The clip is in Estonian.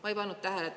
Ma ei pannud tähele.